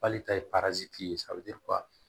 K'ale ta ye ye